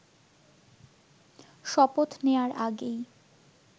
শপথ নেয়ার আগেই